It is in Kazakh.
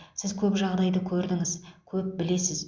сіз көп жағдайды көрдіңіз көп білесіз